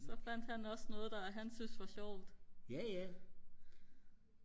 så fandt han også noget der han syntes var sjovt